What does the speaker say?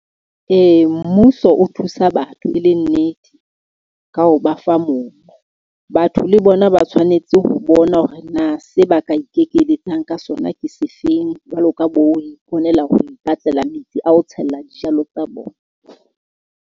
Ee, mmuso o thusa batho e le nnete ka ho ba fa mobu. Batho le bona ba tshwanetse ho bona hore na se ba ka ikekeletsa ka sona ke se feng. Jwalo ka bo iponela ho ipatlela metsi a ho tshella dijalo tsa bona.